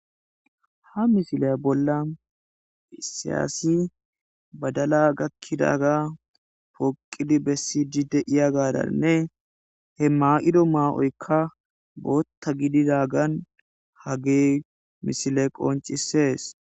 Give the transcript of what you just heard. ha misiley bolla isi assi badala gakkidaga pooqidi bessii deiya gaadanne he ma7ido maa7oykka bootta gididagan hage misile qoncisees